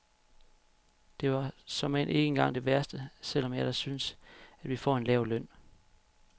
Det var såmænd ikke engang det værste, selv om jeg da synes, at vi får en lav løn.